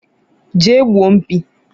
je gbuo mkpi